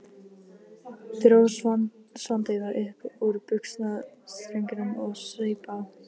Dró Svartadauða upp úr buxnastrengnum og saup á.